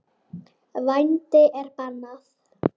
Vændi er bannað.